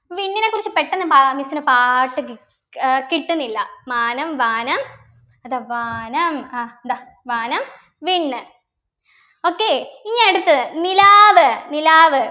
വിണ്ണിനെ കുറിച്ച് പെട്ടെന്ന് പാ miss ന് പാട്ട് കി ഏർ കിട്ടുന്നില്ല മാനം വാനം അതാ വാനം ആഹ് ദാ വാനം വിണ്ണ് okay ഇനി അടുത്തത് നിലാവ് നിലാവ്